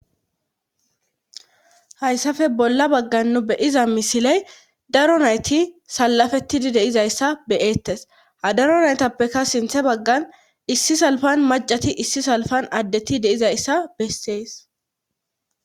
hayssafe bolla baggan nu beyiza misiley daro nayti salafetidi deizayssa beyeettes ha daro naytappeka sinthe baggan issi salfan macati issi salfan addeti deizayssa bessees